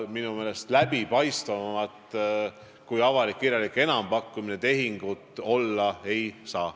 Minu meelest läbipaistvamat tehingut kui avalik kirjalik enampakkumine olla ei saa.